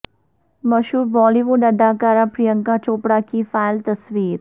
مشہور Bollywood اداکارہ پرینکا چوپڑا کی فائل تصویر